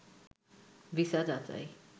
visa যাচাই